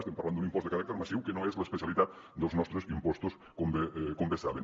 estem parlant d’un impost de caràcter massiu que no és l’especialitat dels nostres impostos com bé saben